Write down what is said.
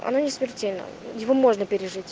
оно не смертельно его можно пережить